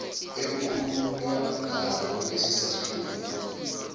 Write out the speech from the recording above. ekukhulunywa ngalo kilesisahluko